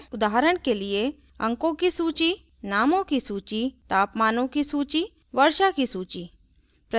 उदाहरण के लिए अंकों की सूची नामों की सूची तापमानों की सूची वर्षा की सूची